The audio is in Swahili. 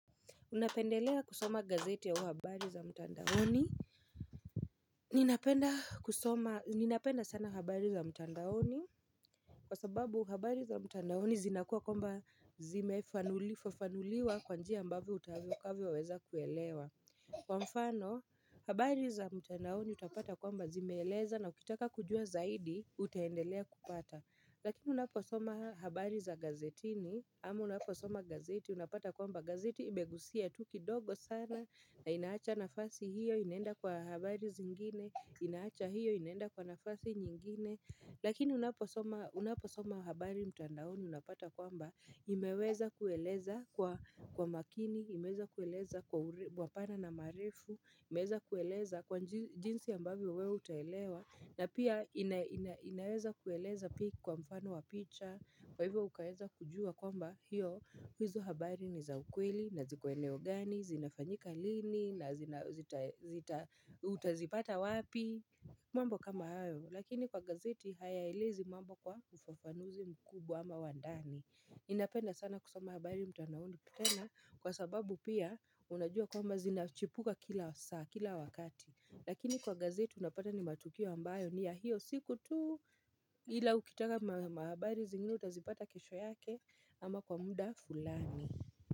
Unapendelea kusoma gazeti au habari za mtandaoni. Ninapenda sana habari za mtandaoni kwa sababu habari za mtandaoni zinakuwa kwamba zimefafanuliwa kwa njia ambavo utakavo weza kuelewa. Kwa mfano, habari za mtandaoni utapata kwamba zimeleza na ukitaka kujua zaidi, utahendelea kupata. Lakini unaposoma habari za gazetini ama unaposoma gazeti unapata kwamba gazeti imegusia tu kidogo sana na inaacha nafasi hiyo inenda kwa habari zingine inaacha hiyo inenda kwa nafasi nyingine Lakini unaposoma habari mtandaoni unapata kwamba imeweza kueleza kwa makini, imeweza kueleza mapana na marefu imeweza kueleza kwa jinsi ya ambavyo wewe utaelewa na pia inaweza kueleza pia kwa mfano wa picha Kwa hivyo ukaweza kujua kwamba hiyo hizo habari ni za ukweli, naziko eneo gani, zinafanyika lini na utazipata wapi mambo kama hayo Lakini kwa gazeti hayaelezi mambo kwa ufafanuzi mkubwa ama wandani Ninapenda sana kusoma habari mtandandaoni tena Kwa sababu pia unajua kwamba zinachipuka kila wakati Lakini kwa gazeti unapata ni matukio ambayo ni ya hiyo siku tu ila ukitaka mahabari zingine utazipata kesho yake Ama kwa muda fulani.